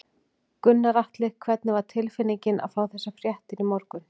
Gunnar Atli: Hvernig var tilfinningin að fá þessar fréttir í morgun?